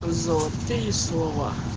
золотые слова